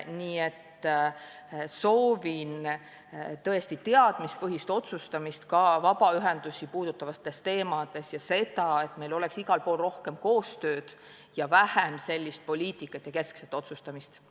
Ma soovin teadmispõhist otsustamist ka vabaühendusi puudutavatel teemadel ja seda, et meil oleks igal pool rohkem koostööd ning vähem sellist poliitikat ja keskset otsustamist.